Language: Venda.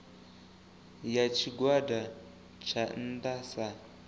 ya tshigwada tsha nnda sa